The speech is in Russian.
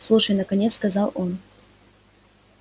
слушай наконец сказал он